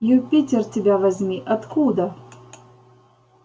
юпитер тебя возьми откуда